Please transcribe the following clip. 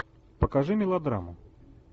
покажи мелодраму